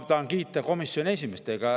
Ma tahan kiita komisjoni esimeest.